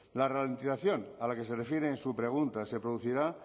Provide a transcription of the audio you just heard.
la ralentización a la que se refiere en su pregunta se producirá